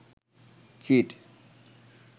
cheat